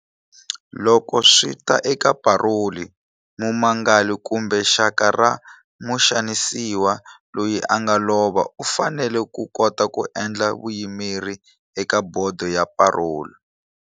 Loko swi ta eka paroli, mumangali kumbe xaka ra muxanisiwa loyi a nga lova u fanele ku kota ku endla vuyimeri eka bodo ya paroli.